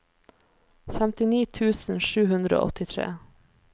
femtini tusen sju hundre og åttitre